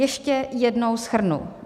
Ještě jednou shrnu.